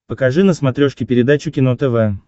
покажи на смотрешке передачу кино тв